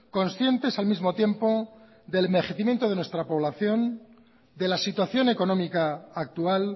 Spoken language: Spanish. conscientes al mismo tiempo del envejecimiento de nuestra población de la situación económica actual